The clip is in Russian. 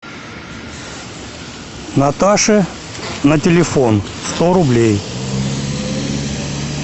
наташе на телефон сто рублей